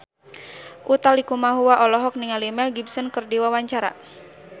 Utha Likumahua olohok ningali Mel Gibson keur diwawancara